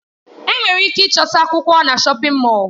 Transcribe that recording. Enwere ike ịchọta akwụkwọ na shọpin Mọll.